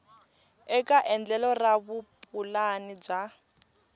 eka endlelo ra vupulani bya